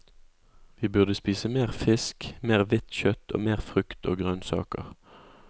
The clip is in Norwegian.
Vi burde spise mer fisk, mer hvitt kjøtt og mer frukt og grønnsaker.